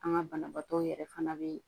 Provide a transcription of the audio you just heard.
An ka banabaatɔ yɛrɛ fana bɛ